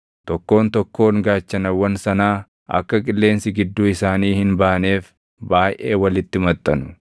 tokkoon tokkoon gaachanawwan sanaa akka qilleensi gidduu isaanii hin baaneef baayʼee walitti maxxanu.